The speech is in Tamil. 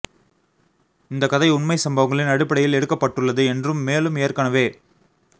இந்த கதை உண்மை சம்பவங்களின் அடிப்படையில் எடுக்கப்பட்டுள்ளது என்றும் மேலும் ஏற்கனவே